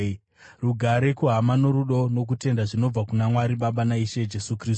Rugare kuhama, norudo nokutenda zvinobva kuna Mwari Baba naIshe Jesu Kristu.